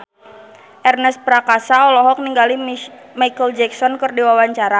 Ernest Prakasa olohok ningali Micheal Jackson keur diwawancara